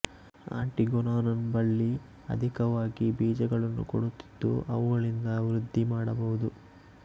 ಆಂಟಿಗೊನಾನ್ ಬಳ್ಳಿ ಅಧಿಕವಾಗಿ ಬೀಜಗಳನ್ನು ಕೊಡುತ್ತಿದ್ದು ಅವುಗಳಿಂದ ವೃದ್ಧಿ ಮಾಡಬಹುದು